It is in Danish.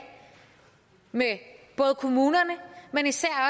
med kommunerne men især